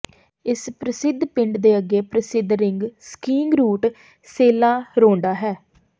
ਇਸ ਪ੍ਰਸਿੱਧ ਪਿੰਡ ਦੇ ਅੱਗੇ ਪ੍ਰਸਿੱਧ ring skiing route Sella Ronda ਹੈ